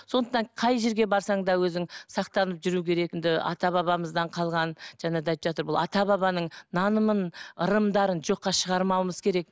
сондықтан қай жерге барсаң да өзің сақтанып ата бабамыздан қалған жаңа да айтып жатыр бұл ата бабаның нанымын ырымдарын жоққа шығармауымыз керек